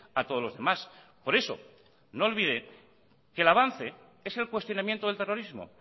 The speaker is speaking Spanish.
a todos los demás por eso no olvide que el avance es el cuestionamiento del terrorismo